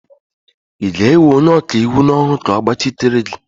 ị ga-ewe onye ọkaiwu n'ọrụ ka ọ gbachitere gị?